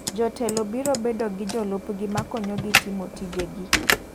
Jotelo biro bedo gi jolup gi makonyo gi timo tije gi.